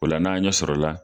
O la n'a ɲɛsɔrɔ la.